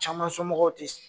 Caman somɔgɔw te se